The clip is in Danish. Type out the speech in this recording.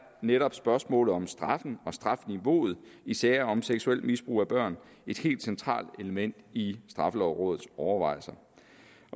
netop spørgsmålet om straffen og strafniveauet i sager om seksuel misbrug af børn et helt centralt element i straffelovrådets overvejelser